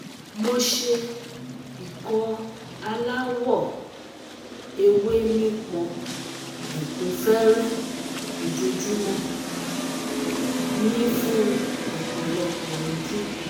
Mo se Ikọ alawọ ewe nipọn ekun fere ojoojumo - ni fun opolopo odun